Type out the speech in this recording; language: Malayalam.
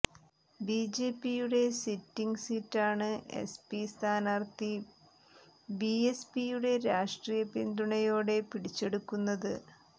ബിജെപിയുടെ സിറ്റിംഗ് സീറ്റാണ് എസ്പി സ്ഥാനാര്ഥി ബിഎസ്പിയുടെ രാഷ്ട്രീയ പിന്തുണയോടെ പിടിച്ചെടുക്കുന്നത്